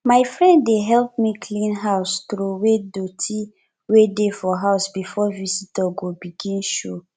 my friend dey help me clean house troway doty wey dey for house before visitor go begin show